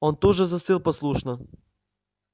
он тут же застыл послушно